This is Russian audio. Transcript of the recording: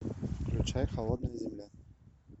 включай холодная земля